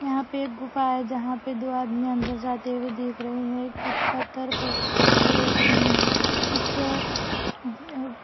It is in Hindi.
यहां पे एक गुफा है जहां पे दो आदमी अंदर जाते हुए देख रहे हैं एक पत्थर पे कुछ--